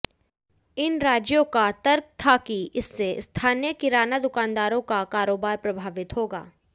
इन राज्यों का तर्क था कि इससे स्थानीय किराना दुकानदारों का कारोबार प्रभावित होगा